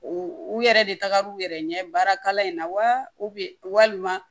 U u yɛrɛ de tagar'u yɛrɛ ɲɛ baarakalan in na wa walima